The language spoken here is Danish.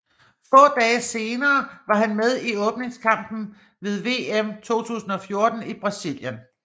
Få dage senere var han med i åbningskampen ved VM 2014 i Brasilien